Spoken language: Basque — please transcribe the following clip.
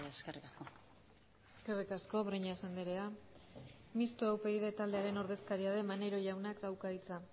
eskerrik asko eskerrik asko breñas andrea mistoa upyd taldearen ordezkaria den maneiro jaunak dauka hitza